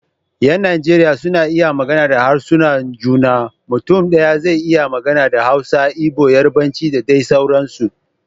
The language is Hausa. Yan Najeriya suna iya magana da harsunan juna, mutum daya zai iya magana da Hausa, Igbo, Yarbanci da dai sauransu